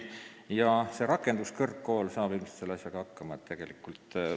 Kõnealune rakenduskõrgkool saab ilmselt selle asjaga hakkama küll.